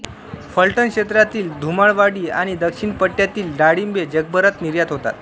फलटण क्षेत्रातील धुमाळवाडी आणि दक्षिण पट्ट्यातील डाळिंबे जगभरात निर्यात होतात